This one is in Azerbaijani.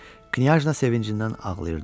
Knyajna sevincindən ağlayırdı.